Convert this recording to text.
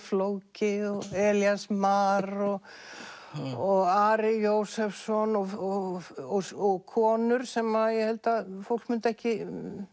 flóki og Elías Mar og og Ari Jósefsson og og konur sem ég held að fólk myndi ekki